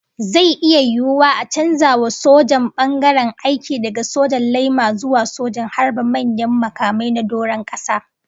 Zai iya yiwuwa a canza wa sojan bangaren aiki daga sojan laima zuwa sojan harba manyan makamai na doron kasa